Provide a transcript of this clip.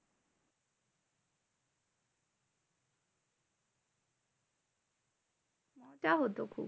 তা হতো খুব।